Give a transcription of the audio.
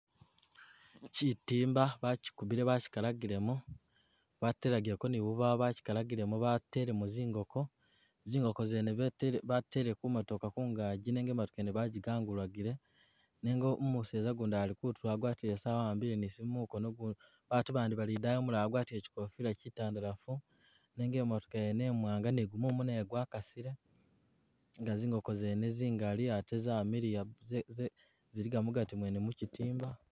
Chitimba bachikubile bachikalagilemu batelagileko ni bubawo, bachikalagilemu bateleko zingoko, zingoko zene betele batele ku motooka kungaji nenga imatooka yene baji gangulagile nenga um umuseza gundi ali kutulo agwatile esawa a'ambile ni Simu mukono ugu batu bandi bali idayi ugundi agwatile chikofila chitandalafu nenga emotooka yene imwanga ni gumumu nagwo gwakasile nga zingoko zene zingali ate zamiliya, ze ze ziliga mugati mwene mu chitimba